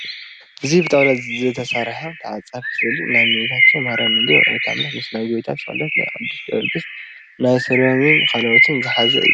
እዚ ብጣውላ ዝተሰርሓ ተዓፃፊ ስእሊ ናይ እመቤታችን ማሪያም ድንግል ወላዲት ኣምላክ ምስ ናይ ጌታ ስቕለት ፣ ናይ ቕዱስ ጀወርግስ ፣ ናይ ሰሎሜን ካልኦትን ዝሓዘ እዩ።